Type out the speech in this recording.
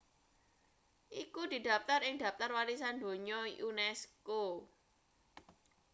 iku didaptar ing daptar warisan donya unesco